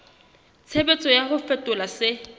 tshebetso ya ho fetola se